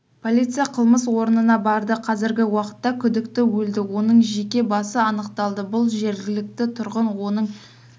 полиция қылмыс орнына барды қазіргі уақытта күдікті өлді оның жеке басы анықталды бұл жергілікті тұрғын оның